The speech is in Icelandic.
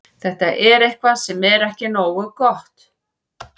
Þetta er eitthvað sem er ekki nógu gott.